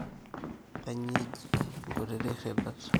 kainyioo eji nkutitik irridat